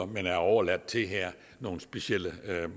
men er overladt til nogle specielle